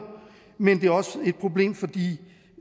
men det er også et problem for